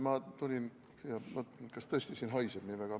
Ma tulin, et kas tõesti siin haiseb nii väga.